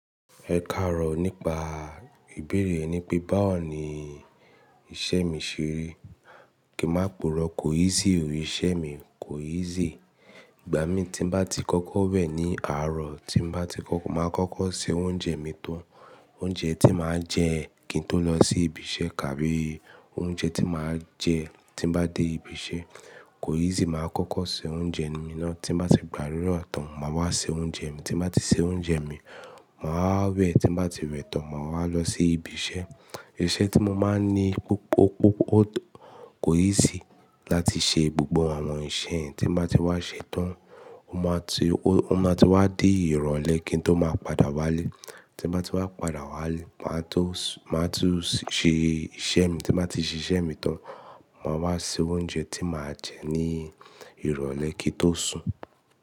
Ẹ káàárọ̀ nípa ìbéèrè ẹ ní pé báwo ni iṣẹ́ mi ṣẹ́ rí. Kí má pooro, kò easy o, iṣẹ́ mi kò easy. Ìgbà mi tí n bá ti kọ́kọ́ wẹ̀ ní àárọ̀ tí n bá ti kọ́kọ́ máa kọ́kọ́ se oúnjẹ mi tán. Oúnjẹ tí máa jẹ kí n tó lọ sí ibi iṣẹ́ kabi oúnjẹ tí máa jẹ tí n bá dé ibi iṣẹ́. Kò easy máa kọ́kọ́ se oúnjẹ mi ná. Tí n bá ti gbà adura tán máa wá ṣe oúnjẹ mi, tí n bá ti ṣe oúnjẹ mi, máa wẹ̀, tí n bá ti wẹ̀ tán máa wá lọ sí ibi iṣẹ́. Iṣẹ́ tí mo máa ń ní, kò easy láti ṣe gbogbo àwọn nǹṣẹ́ ẹ́ tí n bá ti wá ṣẹ́ tán. Ima ti Ó máa ti wá dé ìrọ̀lẹ́ kí n tó máa padà wálé. Tí n bá ti wá padà wálé, màá tó ṣe iṣẹ́ mi, tí n bá ti ṣe iṣẹ́ mi tán, màá wá se oúnjẹ tí màá jẹ ní ìrọ̀lẹ́ kí tó sùn.